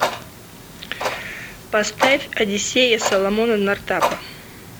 поставь одиссея соломона нортапа